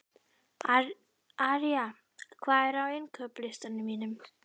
Arja, hvað er á innkaupalistanum mínum?